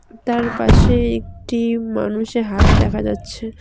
তার পাশে একটি মানুষের হাত দেখা যাচ্ছে।